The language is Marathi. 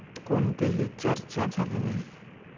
कोणतेही चर्चा झाली नाही.